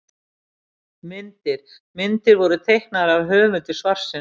Myndir: Myndir voru teiknaðar af höfundi svarsins.